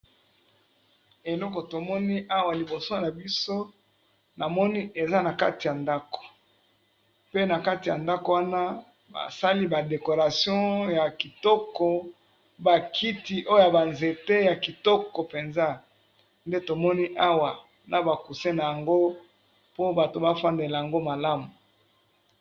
Eloko to moni awa liboso na biso na moni eza na kati ya ndako pe na kati ya ndako wana ba sali ba decoration ya kitoko, ba kiti oya ba nzete ya kitoko penza nde tomoni awa na ba coussins na yango po bato ba fandela yango malamu .